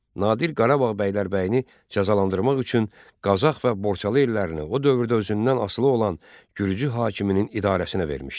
Nadir Qarabağ bəylərbəyini cəzalandırmaq üçün Qazax və Borçalı ellərini o dövrdə özündən asılı olan gürcü hakiminin idarəsinə vermişdi.